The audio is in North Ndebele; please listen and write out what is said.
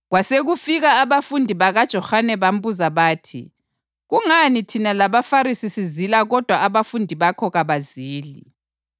Kwasekufika abafundi bakaJohane bambuza bathi, “Kungani thina labaFarisi sizila kodwa abafundi bakho kabazili?”